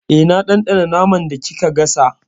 Eh, na ɗanɗana naman da kika gasa.